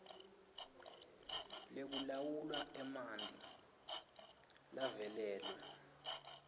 lekulawula emanti lavalelwe